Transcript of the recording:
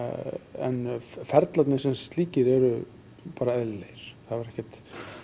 en ferlarnir sem slíkir eru bara eðlilegir það var ekkert